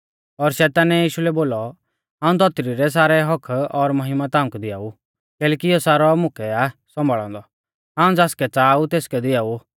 और शैतानै यीशु लै बोलौ हाऊं धौतरी रै सारै हक्क्क और महिमा ताऊं कै दिआऊ कैलैकि इयौ सारौ मुकै आ सौंभाल़ौ औन्दौ हाऊं ज़ासकै च़ाहा ऊ तेसकै दिआऊ